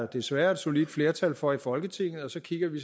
desværre et solidt flertal for i folketinget og så kigger vi